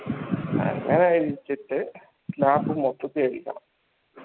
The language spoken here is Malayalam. അതഴിച്ചിട്ട് last മൊത്തത്തി അഴിക്കണം